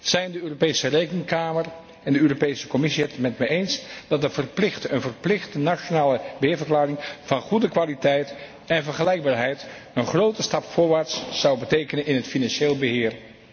Zijn de Europese Rekenkamer en de Europese Commissie het met mij eens dat een verplichte nationale beheerverklaring van goede kwaliteit en vergelijkbaarheid een grote stap voorwaarts zou betekenen in het financieel beheer?